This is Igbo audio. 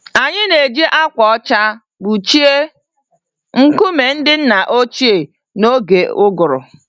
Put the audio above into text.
Anyị na-eji ákwà ọcha kpuchie nkume ndị nna ochie n'oge ụgụrụ.